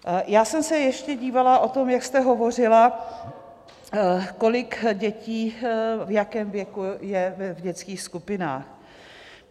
Já jsem se ještě dívala - o tom, jak jste hovořila, kolik dětí, v jakém věku je v dětských skupinách.